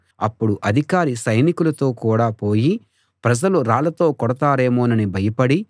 అప్పుడు అధికారి సైనికులతో కూడా పోయి ప్రజలు రాళ్లతో కొడతారేమోనని భయపడి